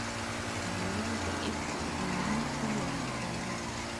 Diiwaanka iibku wuxuu muhiim u yahay faa'iidada.